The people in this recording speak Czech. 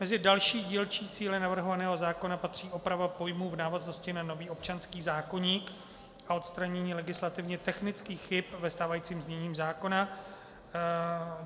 Mezi další dílčí cíle navrhovaného zákona patří oprava pojmů v návaznosti na nový občanský zákoník a odstranění legislativně technických chyb ve stávajícím znění zákona.